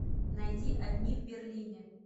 найди одни в берлине